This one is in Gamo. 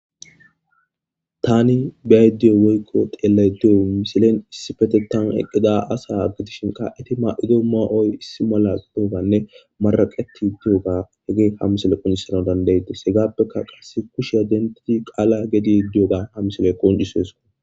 Taanin biaydiyo woykqo teellaydeyo misilen issifete tan eqqida asa aggidishinka eti ma'ido maa'oy issi mala de'oganne maraqeti diyoga hege ha misele qonjisana dandaydes hegaappeka qasse kushe adentii qaala gedi diyoga ha misile qonjisoyesko.